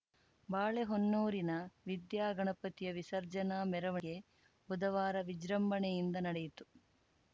ಬಾಳೆಹೊನ್ನೂರಿನ ವಿದ್ಯಾಗಣಪತಿಯ ವಿಸರ್ಜನಾ ಮೆರವಣಿಗೆ ಬುಧವಾರ ವಿಜೃಂಭಣೆಯಿಂದ ನಡೆಯಿತು